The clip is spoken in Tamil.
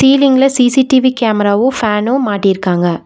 சீலிங்க்ல சி_சி_டி_வி கேமராவு ஃபேனூ மாட்டிருக்காங்க.